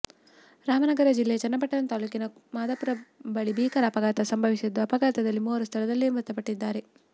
ರಾಮನಗರ ಜಿಲ್ಲೆಯ ಚನ್ನಪಟ್ಟಣ ತಾಲೂಕಿನ ಮಾದಾಪುರ ಬಳಿ ಭೀಕರ ಅಪಘಾತ ಸಂಭವಿಸಿದ್ದು ಅಪಘಾತದಲ್ಲಿ ಮೂವರು ಸ್ಥಳದಲ್ಲೇ ಮೃತಪಟ್ಟಿದ್ದಾರೆ